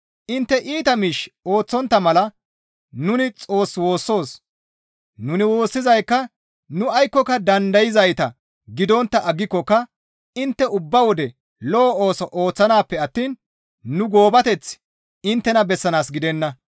Intte iita miish ooththontta mala nuni Xoos woossoos; nuni woossizaykka nu aykkoka dandayzayta gidontta aggikokka intte ubba wode lo7o ooso ooththanaappe attiin nu goobateth inttena bessanaas gidenna.